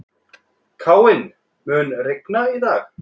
Káinn, mun rigna í dag?